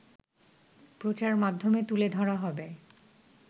প্রচারমাধ্যমে তুলে ধরা হবে